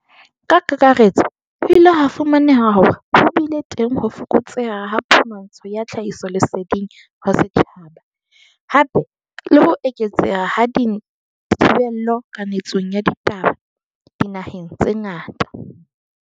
Ka kakaretso, ho ile ha fu maneha hore ho bile teng ho fokotseha ha phumantsho ya tlhahisoleseding ho setjhaba, hape le ho eketseha ha dithi bello kanetsong ya ditaba dinaheng tse ngata.